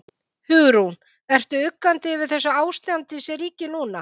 Hugrún: Ertu uggandi yfir þessu ástandi sem ríkir núna?